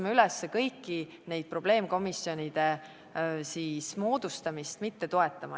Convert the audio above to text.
Me kutsume kõiki üles nende probleemkomisjonide moodustamist mitte toetama.